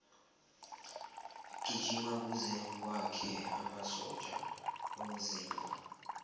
gijima kuze wakhe amasotja womzimba